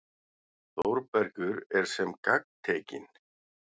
Þórbergur er sem gagntekinn.